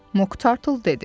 Moq Tartle dedi: